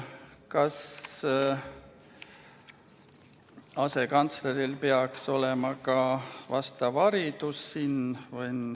Kas asekantsleril peaks olema ka vastav haridus?